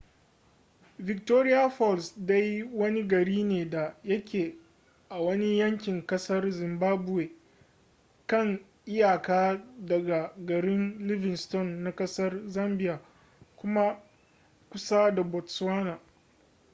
victoria falls dai wani gari ne da yake a wani yankin kasar zimbabwe kan iyaka daga garin livingstone na kasar zambia kuma kusa da botswana